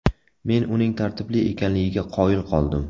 Men uning tartibli ekanligiga qoyil qoldim.